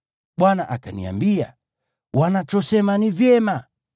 Bwana akaniambia: “Wanachosema ni vyema.